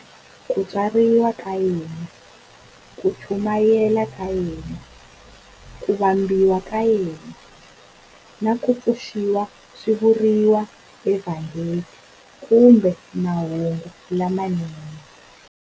Ku tswariwa ka yena, ku chumayela ka yena, ku vambiwa ka yena, na ku pfuxiwa swi vuriwa eVhangeli kumbe Mahungu lamanene.